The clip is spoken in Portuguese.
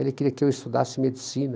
Ele queria que eu estudasse medicina.